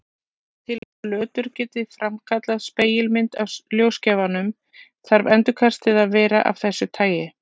Til að flötur geti framkallað spegilmynd af ljósgjafanum þarf endurkastið að vera af þessu tagi.